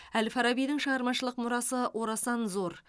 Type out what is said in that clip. әл фарабидің шығармашылық мұрасы орасан зор